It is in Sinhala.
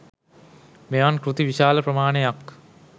මෙවන් කෘති විශාල ප්‍රමාණයක්